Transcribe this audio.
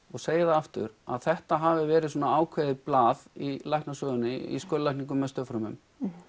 og segi það aftur að þetta hafi verið svona ákveðið blað í læknasögunni í skurðlækningum með stofnfrumum